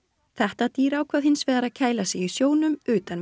þetta dýr ákvað hins vegar að kæla sig í sjónum utan við